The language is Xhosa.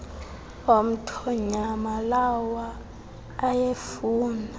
omthonyama lawa ayefuna